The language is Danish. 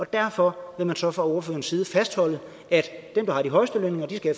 derfor vil man så fra ordførerens side fastholde at dem der har de højeste lønninger skal